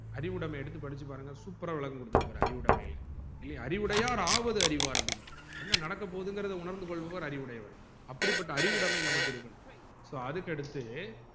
அறிவுடமைய எடுத்து படிச்சிபாருங்க super ஆ விளக்கம் குடுத்துருப்பாறு அறிவுடைமைல இல்லையா அறிவுடையார் ஆவது அறிவார் அப்டின்னு என்ன நடக்கபோகுதுன்னு உணர்ந்து கொள்பவர் அறிவுடையவர் அப்படிப்பட்ட அறிவுடைமை நமக்கு இருக்கனும் so அதுக்கு அடுத்து